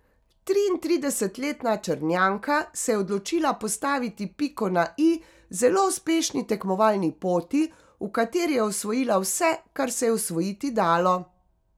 Triintridesetletna Črnjanka se je odločila postaviti piko na i zelo uspešni tekmovalni poti, v kateri je osvojila vse kar se je osvojiti dalo.